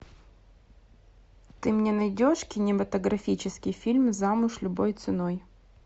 ты мне найдешь кинематографический фильм замуж любой ценой